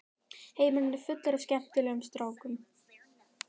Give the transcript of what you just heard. Heimurinn er fullur af skemmtilegum strákum.